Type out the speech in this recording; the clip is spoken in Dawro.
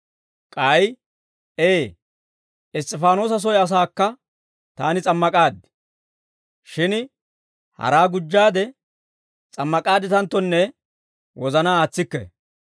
K'ay, Ee, Iss's'ifaanoosa soy asaakka taani s'ammak'aad. Shin haraa gujjaade s'ammak'aadditanttonne wozanaa aatsikke.